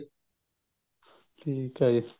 ਠੀਕ ਹੈ ਜੀ